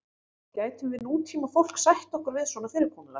gætum við nútímafólk sætt okkur við svona fyrirkomulag